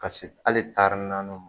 Paseke hali taari nanniw